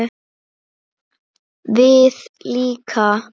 Við líka?